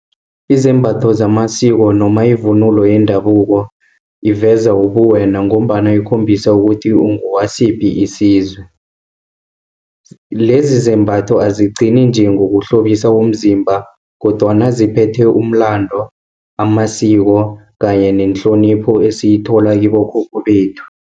Izembatho zamasiko noma ivunulo yendabuko, iveza ubuwena ngombana ikhombisa ukuthi ungowasiphi isizwe. Lezizembatho azigcine nje, ngokuhlobisa umzimba, kodwana ziphethe umlando, amasiko kanye nehlonipho esiyithola kibokhokho bethu.